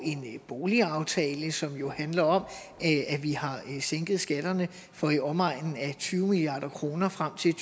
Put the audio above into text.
en boligaftale som jo handler om at vi har sænket skatterne for i omegnen af tyve milliard kroner frem til